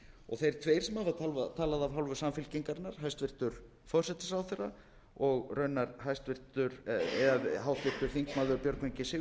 og þeir tveir sem hafa talað af hálfu samfylkingarinnar hæstvirtur forsætisráðherra og raunar háttvirtir þingmenn björgvin g sigurðsson fyrrverandi hæstvirtur